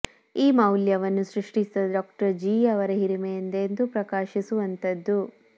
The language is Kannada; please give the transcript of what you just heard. ಈ ಮೌಲ್ಯವನ್ನು ಸೃಷ್ಟಿಸಿದ ಡಾಕ್ಟರ್ ಜೀ ಯವರ ಹಿರಿಮೆ ಎಂದೆಂದೂ ಪ್ರಕಾಶಿಸುವಂತದ್ದು